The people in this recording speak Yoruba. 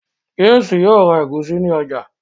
James yóò rá egusi ní ọjà.